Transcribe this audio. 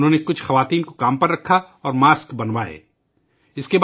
انہوں نے کچھ خواتین کو کام پر رکھا اور ماسک بنوانے لگے